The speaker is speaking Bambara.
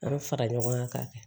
An bɛ fara ɲɔgɔn kan k'a kɛ